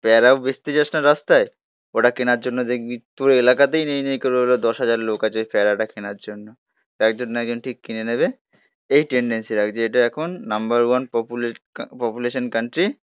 প্যারাও বেচতে যাস না রাস্তায়. ওটা কেনার জন্য দেখবি? তোর এলাকাতেই নেই. দশ হাজার লোক আছে প্যারাডা কেনার জন্য. তো একজন না একজন ঠিক কিনে নেবে. এই টেন্ডেন্সি রাখ. এটা এখন নাম্বার ওয়ান পপুলেশন কান্ট্রি